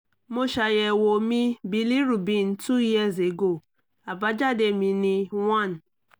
mo ṣayẹwo mi bilirubin two years ago àbájáde mi ni one